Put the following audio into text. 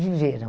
Viveram.